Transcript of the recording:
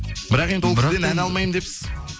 бірақ енді ол кісіден ән алмаймын депсіз